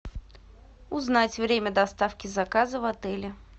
узнать время доставки заказа в отеле